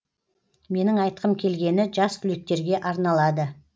менің айтқым келгені жас түлектерге арналады